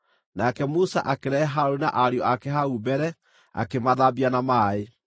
Nake Musa akĩrehe Harũni na ariũ ake hau mbere, akĩmathambia na maaĩ.